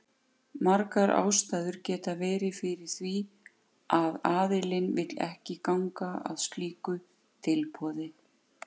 Margar ástæður geta verið fyrir því að aðilinn vill ekki ganga að slíku tilboði.